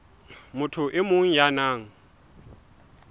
motho e mong ya nang